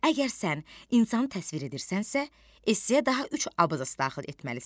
Əgər sən insanı təsvir edirsənsə, esseyə daha üç abzas daxil etməlisən.